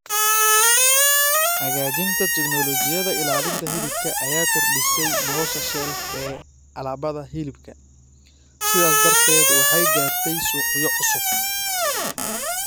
Hagaajinta tignoolajiyada ilaalinta hilibka ayaa kordhisay nolosha shelf ee alaabada hilibka, sidaas darteed waxay gaartay suuqyo cusub.